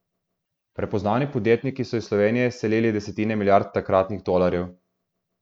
Prepoznavni podjetniki so iz Slovenije selili desetine milijard takratnih tolarjev.